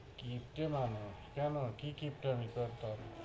কিপ্টে মানুষ কেন কি কিপ্টামি করতাম?